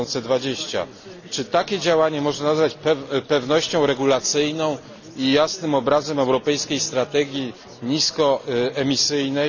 2020. Czy takie działanie można nazwać pewnością regulacyjną i jasnym obrazem europejskiej strategii niskoemisyjnej?